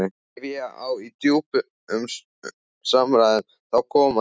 Ef ég á í djúpum samræðum, þá koma þeir.